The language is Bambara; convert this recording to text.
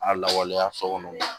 A lawaleya so kɔnɔ